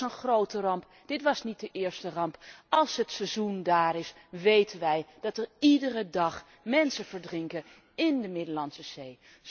Dit was een grote ramp, dit was niet de eerste ramp. Als het seizoen daar is, weten wij dat er iedere dag mensen verdrinken in de Middellandse Zee.